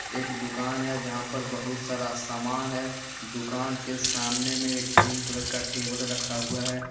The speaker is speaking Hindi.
एक दुकान है जहां पर बहुत सारा सामान है दुकान के सामने मे एक ग्रीन कलर का टेबल रखा हुआ है।